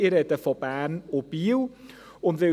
ich spreche von Bern und Biel.